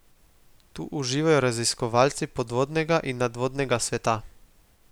Tu uživajo raziskovalci podvodnega in nadvodnega sveta.